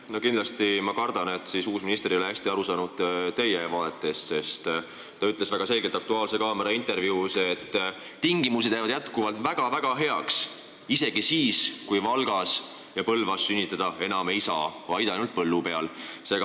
Ma kindlasti kardan, et uus minister ei ole hästi aru saanud teie vaadetest, sest ta ütles "Aktuaalse kaamera" intervjuus väga selgelt, et tingimused jäävad jätkuvalt väga-väga heaks, isegi siis, kui Valgas ja Põlvas ei saa enam haiglas sünnitada, vaid ainult põllu peal.